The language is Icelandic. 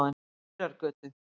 Mýrargötu